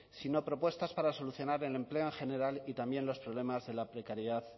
sino propuestas para solucionar el empleo en general y también los problemas de la precariedad